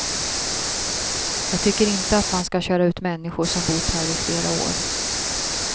Jag tycker inte att man ska köra ut människor som bott här i flera år.